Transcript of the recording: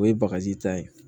O ye bagaji ta ye